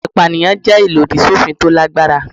Ẹ̀sùn ìpànìyàn jẹ́ ìlòdì sófin tó lágbára.